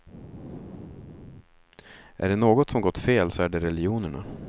Är det något som gått fel så är det religionerna.